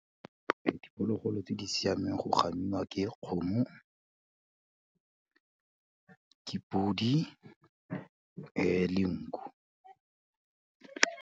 Diphologolo tse di siameng go gamiwa ke kgomo ke podi le nku.